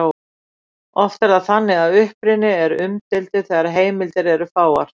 Oft er það þannig að uppruni er umdeildur þegar heimildir eru fáar.